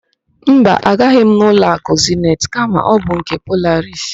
Mba, agaghị m n' ụlọakụ Zenit kama ọ bụ nke Polaris.